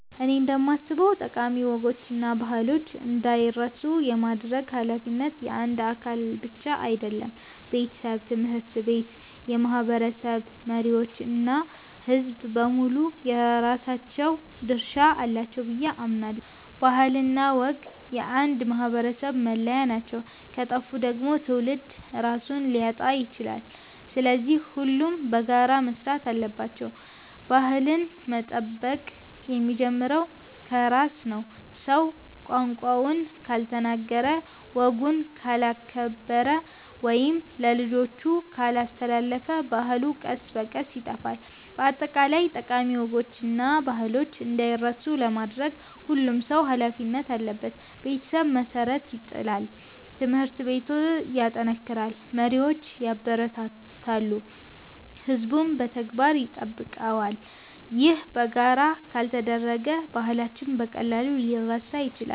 እኔ እንደማስበው ጠቃሚ ወጎችና ባህሎች እንዳይረሱ የማድረግ ኃላፊነት የአንድ አካል ብቻ አይደለም። ቤተሰብ፣ ትምህርት ቤት፣ የማህበረሰብ መሪዎች እና ሕዝቡ በሙሉ የራሳቸው ድርሻ አላቸው ብዬ አምናለሁ። ባህልና ወግ የአንድ ማህበረሰብ መለያ ናቸው፤ ከጠፉ ደግሞ ትውልድ ራሱን ሊያጣ ይችላል። ስለዚህ ሁሉም በጋራ መስራት አለባቸው። ባህልን መጠበቅ የሚጀምረው ከራስ ነው። ሰው ቋንቋውን ካልተናገረ፣ ወጉን ካላከበረ ወይም ለልጆቹ ካላስተላለፈ ባህሉ ቀስ በቀስ ይጠፋል። በአጠቃላይ ጠቃሚ ወጎችና ባህሎች እንዳይረሱ ለማድረግ ሁሉም ሰው ኃላፊነት አለበት። ቤተሰብ መሠረት ይጥላል፣ ትምህርት ቤት ያጠናክራል፣ መሪዎች ያበረታታሉ፣ ሕዝቡም በተግባር ይጠብቀዋል። ይህ በጋራ ካልተደረገ ባህላችን በቀላሉ ሊረሳ ይችላል።